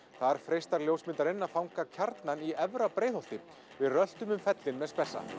þar freistar ljósmyndarinn að fanga kjarnann í Efra Breiðholti við röltum um fellin með